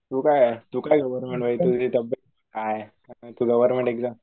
तू काय